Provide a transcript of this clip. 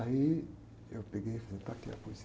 Aí eu peguei e falei, está aqui a poesia.